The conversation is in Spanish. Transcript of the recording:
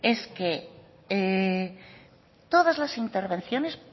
es que todas las intervenciones